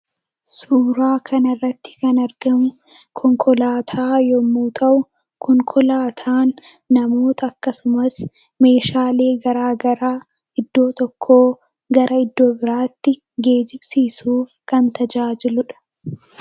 Suuraa kana irratti kan arginu konkolaataa yammuu ta'u; konkolaataanis namootaa fi meeshaa addaa addaa bakkaa bakkatti geejjibsiisuuf kan tajaajiluu dha.